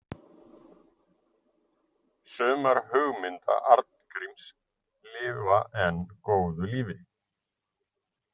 Sumar hugmynda Arngríms lifa enn góðu lífi.